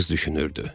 Qız düşünürdü.